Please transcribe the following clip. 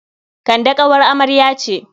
Kande ƙawar amarya ce.